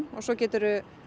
og svo geturðu